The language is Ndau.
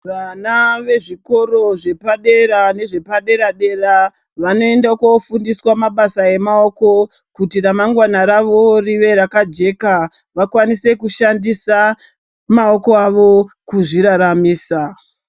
Vana vezvikoro zvepadera nezvepadera-dera vanoende koofundiswa mabasa emaoko, kuti ramangwana ravo rive rakajeka, vakwanise kushandisa maoko avo kuzviraramisa.